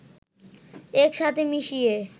একসাথে মিশিয়ে